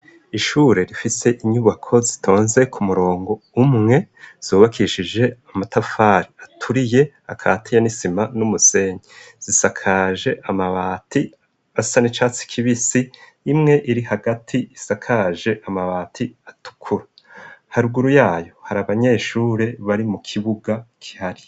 Ishure rifise inyubako zitonze ku murongo umwe, zubakishije amatafari aturiye, akatiye nisima, n'umusenyi, zisakaje amabati asa n'icatsi kibisi, imwe iri hagati isakaje amabati atukura, haruguru yayo hari abanyeshure bari mu kibuga kihari.